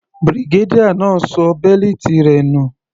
Brigadier náà ṣọ bẹ́lìtì rẹ̀ nù.